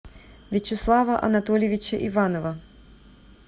вячеслава анатольевича иванова